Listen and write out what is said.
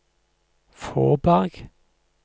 Fåberg